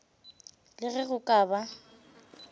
le ge go ka ba